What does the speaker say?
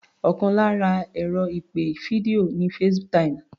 Ọkàn lára ẹ̀rọ ìpè fídíò ni FaceTime